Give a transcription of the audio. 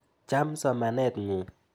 Cham somanet ng'ung'.